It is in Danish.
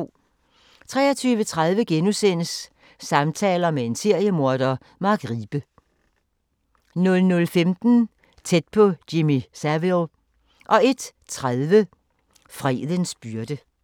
23:30: Samtaler med en seriemorder – Mark Riebe * 00:15: Tæt på Jimmy Savile 01:30: Fredens byrde